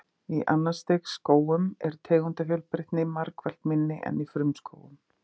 Í annars stigs skógum er tegundafjölbreytni margfalt minni en í frumskógum.